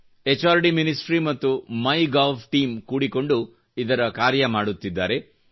H R D ministry ಮತ್ತು MyGov ನ team ಕೂಡಿಕೊಂಡು ಇದರ ಕಾರ್ಯ ಮಾಡುತ್ತಿದ್ದಾರೆ